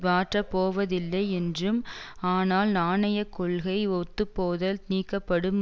மாற்றப்போவதில்லை என்றும் ஆனால் நாணய கொள்கை ஒத்துப்போதல் நீக்கப்படும்